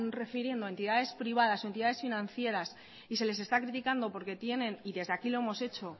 refiriendo a entidades privadas o a entidades financieras y se les está criticando porque tienen y desde aquí lo hemos hecho